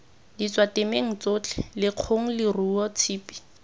ditswatemong tsotlhe lekgong leruo tshipi